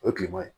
O ye tilema ye